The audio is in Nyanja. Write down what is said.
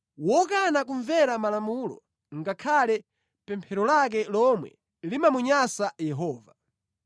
Wokana kumvera malamulo ngakhale pemphero lake lomwe limamunyansa Yehova.